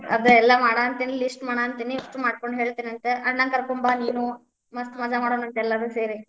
ಅದೆಲ್ಲಾ ಮಾಡಾತೇನಿ list ಮಾಡಾಂತೀನಿ list ಮಾಡ್ಕೊಂಡ್ ಹೇಳ್ತೆನಂತ ಅಣ್ಣ ಕರ್ಕೊಂಡ್ ಬಾ ನೀನು, ಮಸ್ತ್ ಮಜಾ ಮಾಡೋಣಾಂತ ಎಲ್ಲಾರೂ ಸೇರಿ.